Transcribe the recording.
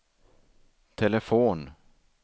telefon